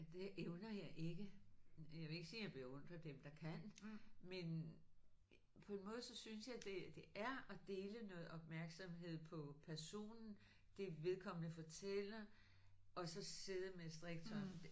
Det evner jeg ikke. Jeg vil ikke sige jeg beundrer dem der kan men på en måde så synes jeg det det er at dele noget opmærksomhed på personen det vedkommende fortæller og så sidde med strikketøj